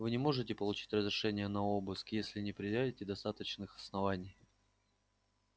вы не сможете получить разрешения на обыск если не предъявите достаточных оснований